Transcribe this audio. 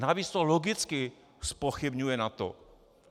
Navíc to logicky zpochybňuje NATO.